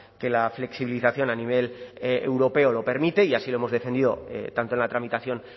que la flexibilización a nivel europeo lo permite y así lo hemos defendido tanto en la tramitación